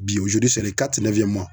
Bi